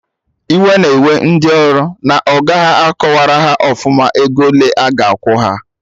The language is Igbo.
Iwe na-ewe ndị ọrụ na ọga ha akọwarọ haọfụma ego ole aga akwụ ha